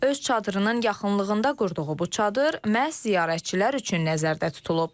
Öz çadırının yaxınlığında qurduğu bu çadır məhz ziyarətçilər üçün nəzərdə tutulub.